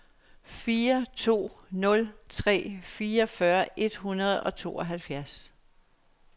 fire to nul tre fireogfyrre et hundrede og tooghalvfjerds